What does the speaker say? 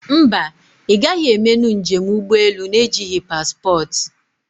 Mba, ị gaghị emenụ njem ụgbọ elu na ejighị paspportị